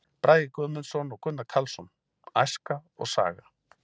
Bragi Guðmundsson og Gunnar Karlsson: Æska og saga.